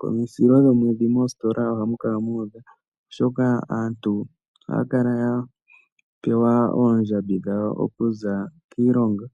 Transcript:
Komisilo dhomwedhi moositola ohamu kala muudha oshoka aantu ohaya kala ya pewa oondjambi dhawo oku za kiilongo.